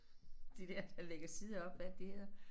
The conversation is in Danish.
De der der lægger sider op hvad er det de hedder